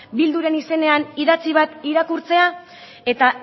bilduren izenean idatzi bat irakurtzea eta